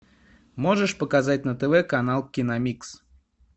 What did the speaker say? можешь показать на тв канал киномикс